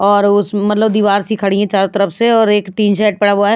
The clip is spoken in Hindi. और उस मतलब दीवार सी खड़ी है चारों तरफ से और एक टीन शेड पड़ा हुआ है।